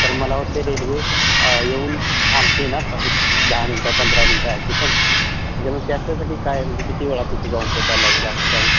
तर मला वाटतं रेल्वे येऊन थांबती ना दह मिनिटं, पंधरा मिनिटं अशी पणं. म्हणजे त्याच्यासाठी काय किती वेळ तिथं धावपळ करायची असं काय?